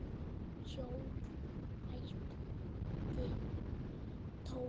Hjól? æpti Tóti.